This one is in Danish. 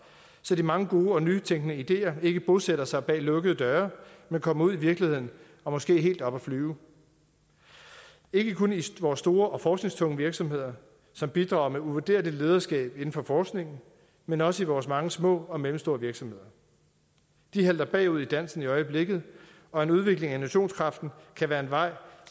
så de mange gode og nytænkende ideer ikke bosætter sig bag lukkede døre men kommer ud i virkeligheden og måske helt op at flyve ikke kun i vores store og forskningstunge virksomheder som bidrager med uvurderligt lederskab inden for forskningen men også i vores mange små og mellemstore virksomheder de halter bagud i dansen øjeblikket og en udvikling af innovationskraften kan være en vej